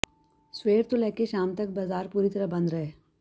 ਸਵੇਰ ਤੋਂ ਲੈ ਕੇ ਸ਼ਾਮ ਤੱਕ ਬਾਜ਼ਾਰ ਪੂਰੀ ਤਰਾਂ ਬੰਦ ਰਹੇ